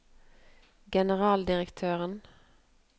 generaldirektøren